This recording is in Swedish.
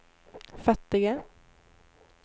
fattiga